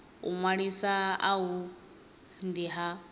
u ṅwalisa uhu ndi ha